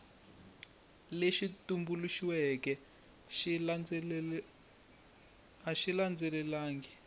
lexi tumbuluxiweke a xi landzelelangi